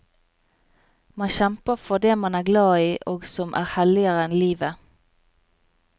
Man kjemper for det man er glad i og som er helligere enn livet.